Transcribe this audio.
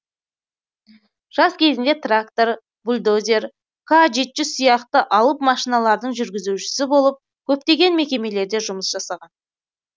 жас кезінде трактор бульдозер к жеті жүз сияқты алып машиналардың жүргізушісі болып көптеген мекемелерде жұмыс жасаған